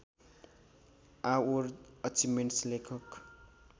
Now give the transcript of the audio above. आओर अचिभ्मेन्ट्स लेखक